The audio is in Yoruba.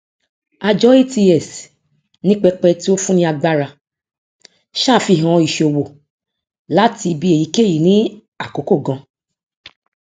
àjọ ats ni pẹpẹ tí ó fún ni agbára ṣàfihàn ìṣòwò láti ibi èyíkéyìí ní àkókò gan